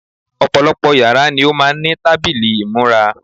Ọ̀pọ̀lọpọ̀ yàrá ni ó máà ń ní tábìlì ìmúra.